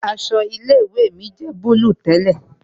Aṣọ ilé ìwé mi jẹ́ búlúù tẹ́lẹ̀